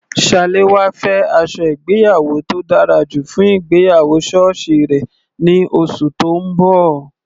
Salawa fẹ́ aṣọ ìgbéyàwó tó dára jù fún ìgbéyàwó sọ́ọ̀sì rẹ̀ ní oṣù tó ń bọ̀.